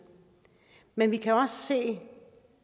men vi kan også se